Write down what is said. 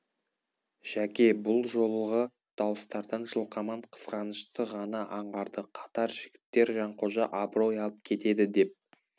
жәке бұл жолығы дауыстардан жылқаман қызғанышты ғана аңғарды қатар жігіттер жанқожа абырой алып кетеді деп